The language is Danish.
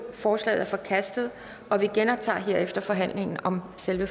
forslaget er forkastet og vi genoptager herefter forhandlingen om selve